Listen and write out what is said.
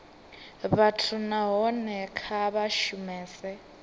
vhathu nahone kha vha shumese